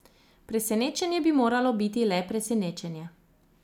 Presenečenje bi moralo biti le presenečenje.